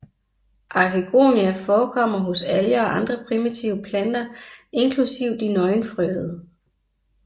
Arkegonia forekommer hos alger og andre primitive planter inklusive de nøgenfrøede